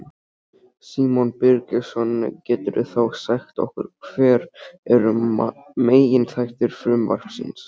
Símon Birgisson: Geturðu þá sagt okkur hver eru meginþættir frumvarpsins?